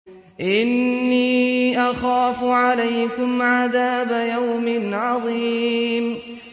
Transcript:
إِنِّي أَخَافُ عَلَيْكُمْ عَذَابَ يَوْمٍ عَظِيمٍ